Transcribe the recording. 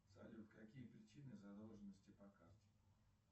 салют какие причины задолженности по карте